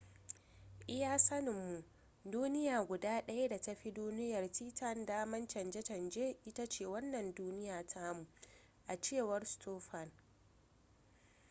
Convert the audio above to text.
iya sanin mu duniya guda daya da ta fi duniyar titan damar canje canje ita ce wannan duniya tamu a cewar stofan